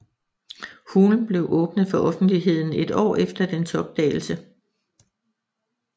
Hulen blev åbnet for offentligheden et år efter dens opdagelse